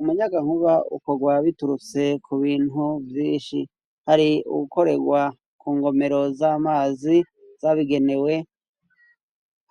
Umuyaga nkuba ukogwa biturutse kubintu vyinshi, hari uwukoregwa kungomero z'amazi zabigenewe,